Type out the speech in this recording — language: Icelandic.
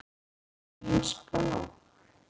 Mín spá?